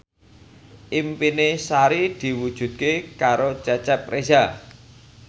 impine Sari diwujudke karo Cecep Reza